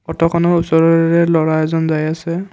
অট'খনৰ ওচৰৰে ল'ৰা এজন যাই আছে।